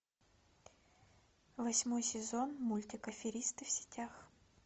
восьмой сезон мультик аферисты в сетях